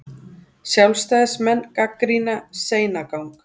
Sjálfstæðismenn gagnrýna seinagang